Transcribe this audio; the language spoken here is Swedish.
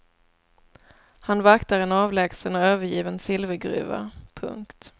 Han vaktar en avlägsen och övergiven silvergruva. punkt